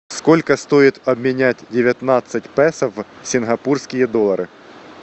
сколько стоит обменять девятнадцать песо в сингапурские доллары